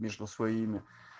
между своими